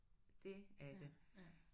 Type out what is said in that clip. Det er det